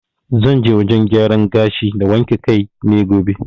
Zan je wajen gyaran gashi na wanke kai ne gobe.